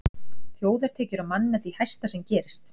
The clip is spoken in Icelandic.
Þjóðartekjur á mann með því hæsta sem gerist.